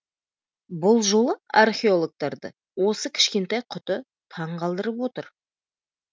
бұл жолы археологтарды осы кішкентай құты таңғалдырып отыр